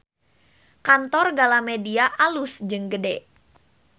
Kantor Galamedia alus jeung gede